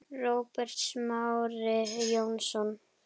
Róbert Smári Jónsson